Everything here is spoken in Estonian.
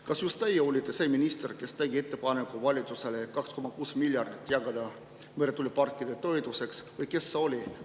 Kas just teie olite see minister, kes tegi ettepaneku valitsusele 2,6 miljardit jagada meretuuleparkide toetuseks või kes see oli?